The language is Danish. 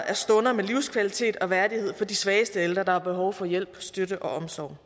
af stunder med livskvalitet og værdighed for de svageste ældre der har behov for hjælp støtte og omsorg